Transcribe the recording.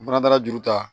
N fana taara juru ta